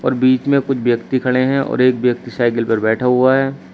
बीच में कुछ व्यक्ति खड़े हैं और एक व्यक्ति साइकल पर बैठा हुआ है।